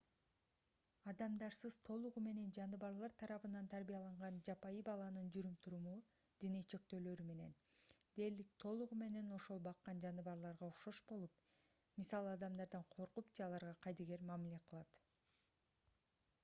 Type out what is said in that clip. адамдарсыз толугу менен жаныбарлар тарабынан тарбияланган жапайы баланын жүрүм-туруму дене чектөөлөрү менен дээрлик толугу менен ошол баккан жаныбарларга окшош болуп мисалы адамдардан коркуп же аларга кайдыгер мамиле кылат